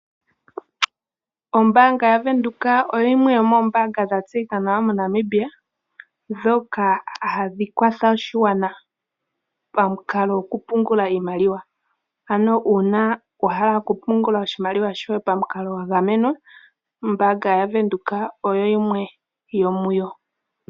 Ombaanga yaVenduka oyo yimwe yo moobaanga dha tseyika nawa moNamibia dhoka hadhi kwatha oshigwana pa mukalo goku pungula iimaliwa. Ano uuna wa hala oku pungula iimaliwa yoye pa mukalo gwa gamenwa, ombaanga yaVenduka oyo yimwe yo muyo.